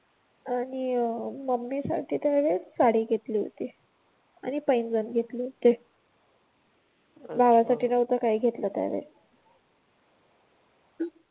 आणि अं मम्मी साठी त्यावेळेस साडी घेतली होती. आणि पैंजण घेतले होते, भावासाठी नव्हतं घेतलं काही त्या वेळेस